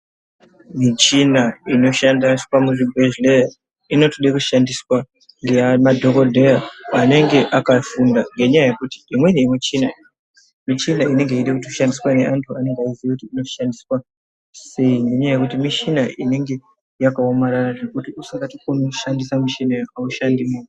Muchina inoshandiswa muzvibhedhleya inotoda kushandiswa ngemadhokodheya anenge akafunda ngenyaya yekuti imweni yemuchina ,michina inenge yeida kushandiswa ngevantu vanoziva kuti inoshandiswa sei. Ngenyaya yekuti michina inenge yakaomarara zvekuti usingatokoni kushandisa michina iyi haushandimo.